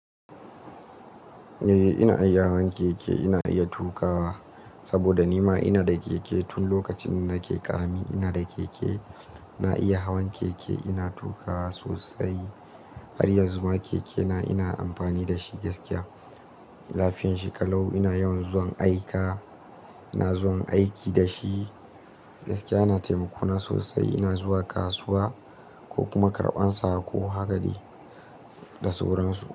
Eh, ina iya hawan keke, ina iya tuƙawa saboda ni ma ina da keke. Tun lokacin da nake ƙarami ina da keke. Na iya hawan keke, ina tuƙa sosai. Har yanzu ma keke na ina amfani da shi gaskiya. Lafiyanshi kalau, ina yawan zuwan aika, ina zuwan aiki da shi gaskiya yana taimako na sosai. Ina zuwa kasuwa ko kuma karɓan sako, haka dai da sauran su.